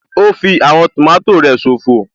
Ó fí àwọn tòmátò rẹ̀ ṣòfò